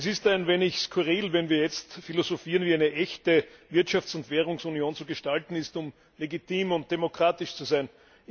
Es ist ein wenig skurril, wenn wir jetzt philosophieren, wie eine echte Wirtschafts und Währungsunion zu gestalten ist, um legitim und demokratisch zu sein.